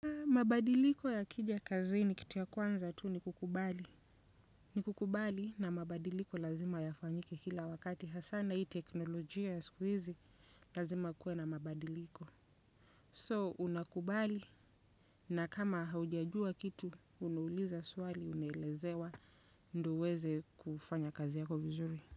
Mabadiliko ya kijakazi ni kitu ya kwanza tu ni kukubali. Ni kukubali na mabadiliko lazima ya fanyike kila wakati. Hasana hii teknolojia ya squeezy lazima kuwe na mabadiliko. So, unakubali na kama haujajua kitu, unuuliza swali, unelezwa, ndio uweze kufanya kazi yako vizuri.